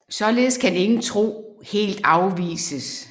Således kan ingen tro helt afvises